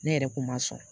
Ne yɛrɛ kun ma sɔn